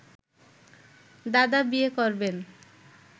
দাদা বিয়ে করবেন